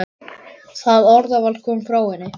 Það orðaval kom frá henni.